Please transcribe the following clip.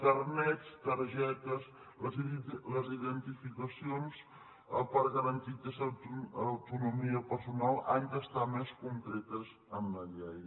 carnets targetes les identificacions per garantir aquesta autonomia personal han d’estar més concretes en la llei